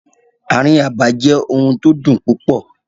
Ààrin abà jẹ́ ohun tó dùn púpọ̀.